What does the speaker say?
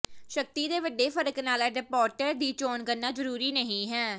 ਸ਼ਕਤੀ ਦੇ ਵੱਡੇ ਫਰਕ ਨਾਲ ਅਡਾਪਟਰ ਦੀ ਚੋਣ ਕਰਨਾ ਜ਼ਰੂਰੀ ਨਹੀਂ ਹੈ